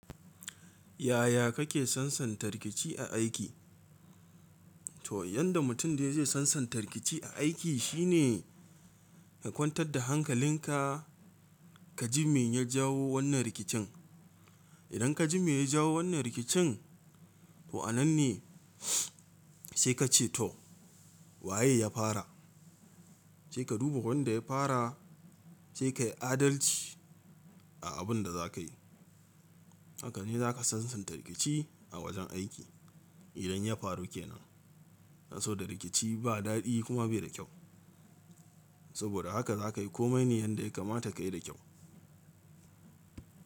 Yaya kake sansanta rikici a aiki? To yanda mutum dai zai sansanta rikici a aiki shine ka kwantar da hankalinka kaji me ya jawo wannan rikicin. Idan kaji me ya jawo wannan rikicin, to anan ne sai ka ce to waye ya fara? Sai ka duba wanda ya fara sai kayi adalci a abun da zakayi. Hakane zaka sansanta rikici a wajen aiki idan ya faru ke nan. Saboda rikici ba daɗi kuma bai da kyau. Saboda haka za ka yi komai ne yanda ya kamata ka yi da kyau.